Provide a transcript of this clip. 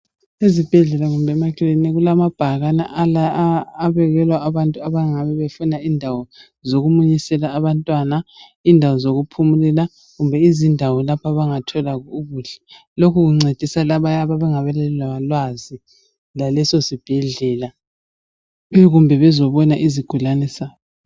Ezibhedlela kumbe emakiliniki kulamabhakane abekelwa abantu abangabe befuna indawo zokumunyisela abantwana, indawo zokuphumulela kumbe indawo lapho abangathola ukudla. Lokhu kuncedisa abayabe bengelalwazi lalesosibhedlela kumbe bezobona isigulane sabo.